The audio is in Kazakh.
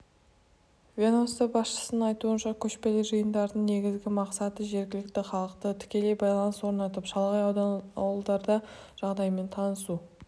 ведомство басшысының айтуынша көшпелі жиындардың негізгі мақсаты жергілікті халықпен тікелей байланыс орнатып шалғай аудан-ауылдардағы жағдаймен танысу